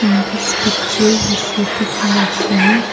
this picture we see big machine.